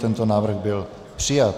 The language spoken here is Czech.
Tento návrh byl přijat.